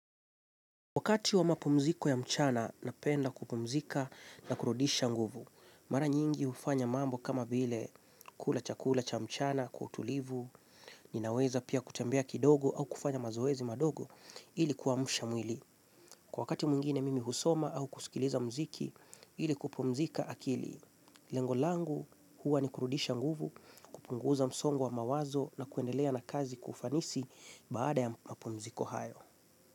Wakati wa mapumziko ya mchana, napenda kupumzika na kurudisha nguvu. Mara nyingi hufanya mambo kama vile kula chakula cha mchana, kwa utulivu, ninaweza pia kutembea kidogo au kufanya mazoezi madogo, ili kuamsha mwili. Kwa wakati mwingine mimi husoma au kusikiliza mziki, ili kupumzika akili. Lengo langu huwa ni kurudisha nguvu, kupunguza msongo wa mawazo na kuendelea na kazi kwa ufanisi baada ya mapumziko hayo.